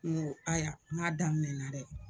Ŋo aya ŋ'a daminɛna dɛ